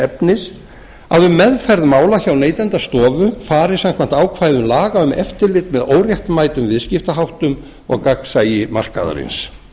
efnis að um meðferð mála hjá neytendastofu fari samkvæmt ákvæðum laga um eftirlit með óréttmætum viðskiptaháttum og gagnsæi markaðarins